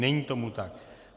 Není tomu tak.